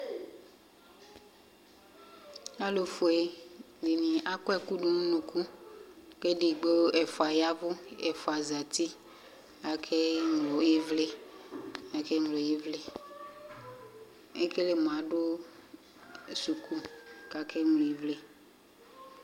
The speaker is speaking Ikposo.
Alʋfue dini akɔ dʋnʋ ʋnʋkʋ kʋ ɛfʋa ya ɛvʋ kʋ ɛfʋa zati akeŋlo ivli ekele mʋ adʋ sʋkʋ kʋ akeŋlo ivli